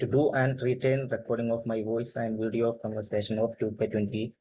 to do and written recording of my voice and video conversation of 2കെ20